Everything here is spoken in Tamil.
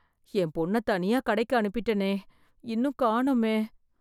என் பொண்ண தனியா கடைக்கு அனுப்பிட்டனே, இன்னும்காணுமே.